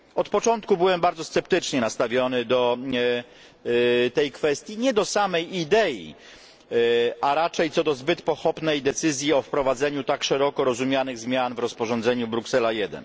Od początku byłem bardzo sceptycznie nastawiony do tej kwestii nie do samej idei a raczej co do zbyt pochopnej decyzji o wprowadzeniu tak szeroko rozumianych zmian w rozporządzeniu Bruksela